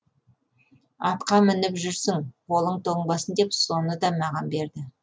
атқа мініп жүрсің қолың тоңбасын деп соны да маған берді